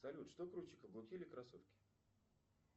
салют что круче каблуки или кроссовки